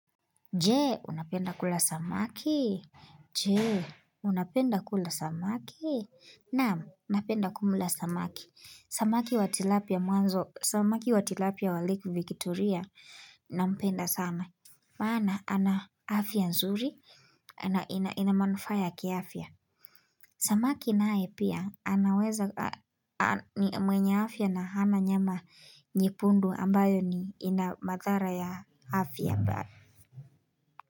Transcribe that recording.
Je, unapenda kula samaki? Je, unapenda kula samaki? Na'am, napenda kumla samaki. Samaki wa tilapia mwanzo, samaki wa tilapia wa lake Victoria nampenda sana. Maana ana afya nzuri, na ina manufaa ya kiafya. Samaki naye pia anaweza mwenye afya na hana nyama nyekundu ambayo ni, ina madhara ya afya.